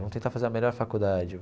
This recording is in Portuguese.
Vamos tentar fazer a melhor faculdade.